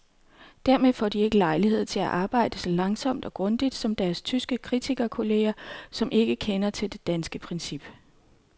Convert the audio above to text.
Dermed får de ikke lejlighed til at arbejde så langsomt og grundigt som deres tyske kritikerkolleger, som ikke kender til det danske princip.